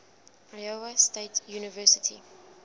iowa state university